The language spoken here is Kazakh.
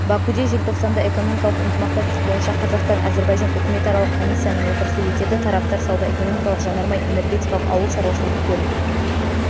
бакуде желтоқсанда экономикалық ынтымақтастық бойынша қазақстан-әзірбайжан үкіметаралық комиссияның отырысы өтеді тараптар сауда-экономикалық жанармай-энергетикалық ауыл шаруашылығы көлік